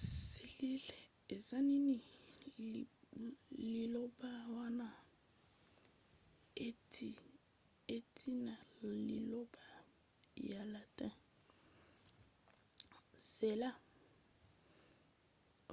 selile eza nini? liloba wana euti na liloba ya latin cella